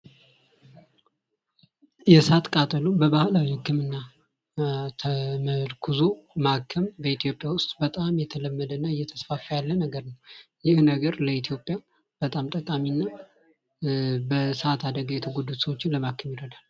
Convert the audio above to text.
ባህል ከትውልድ ወደ ትውልድ የሚተላለፍ ሲሆን የህብረተሰብን ማንነትና ታሪክ ጠብቆ ለማቆየት ወሳኝ ሚና ይጫወታል።